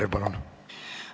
Aitäh!